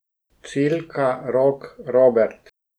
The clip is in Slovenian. Cilka, Rok, Robert ...